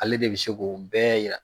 Ale de bɛ se k'o bɛɛ yira.